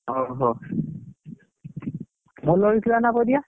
ହଉ ହଉ ଭଲ ହେଇଥିଲା ନା ପରିବା?